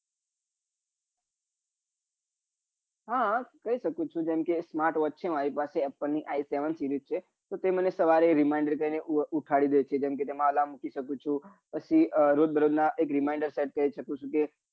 હા કઈ સકું છું જેમ કે એક smartwatch છે મારી પાસે apple ની i seven series છે તો તે મને સવારે reminder કરી ને ઉઠાડી દે છે જેમ કે તેમાં alarm મૂકી સકું ચુ પછી રોજ દરોજ નાં એક reminder set